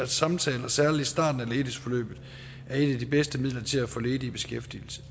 samtaler særlig i starten af ledighedsforløbet er et de bedste midler til at få ledige i beskæftigelse